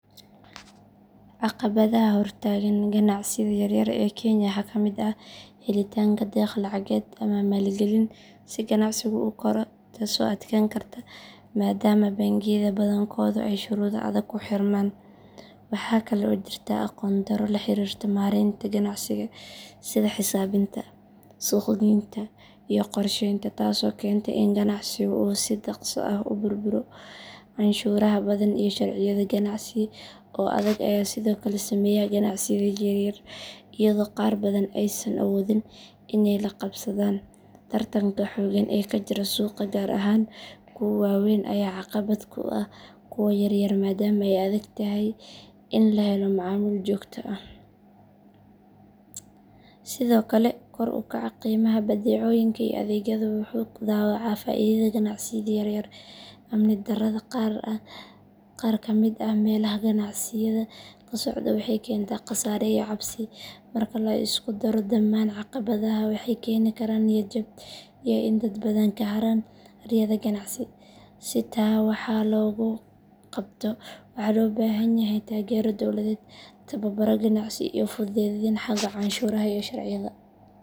Caqabadaha hortaagan ganacsiyada yaryar ee kenya waxaa ka mid ah helitaanka deeq lacageed ama maalgelin si ganacsigu u koro taasoo adkaan karta maadaama bangiyada badankoodu ay shuruudo adag ku xirmaan. Waxaa kale oo jirta aqoon darro la xiriirta maaraynta ganacsiga sida xisaabinta, suuqgeynta iyo qorsheynta taasoo keenta in ganacsigu uu si dhakhso ah u burburo. Canshuuraha badan iyo sharciyada ganacsi ee adag ayaa sidoo kale saameeya ganacsiyada yaryar iyadoo qaar badan aysan awoodin inay la qabsadaan. Tartanka xoogan ee ka jira suuqa gaar ahaan kuwa waaweyn ayaa caqabad ku ah kuwa yaryar maadaama ay adag tahay in la helo macaamiil joogto ah. Sidoo kale kor u kaca qiimaha badeecooyinka iyo adeegyadu wuxuu dhaawacaa faa’iidada ganacsiyada yaryar. Amni darrada qaar ka mid ah meelaha ganacsiyada ka socda waxay keentaa khasaare iyo cabsi. Marka la isku daro dhamaan caqabadahan, waxay keeni karaan niyad jab iyo in dad badan ka harayaan riyada ganacsi. Si taa wax looga qabto waxaa loo baahan yahay taageero dawladeed, tababaro ganacsi iyo fududeyn xagga canshuuraha iyo sharciyada.